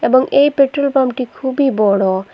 এবং এই পেট্রোল পাম্পটি খুবই বড়।